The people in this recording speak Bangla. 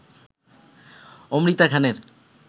অমৃতা খানের